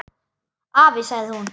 Afi, sagði hún.